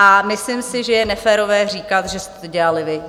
A myslím si, že je neférové říkat, že jste to dělali vy.